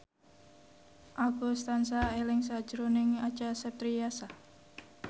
Agus tansah eling sakjroning Acha Septriasa